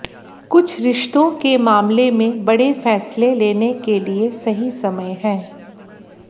कुछ रिश्तों के मामले में बड़े फैसले लेने के लिए सही समय है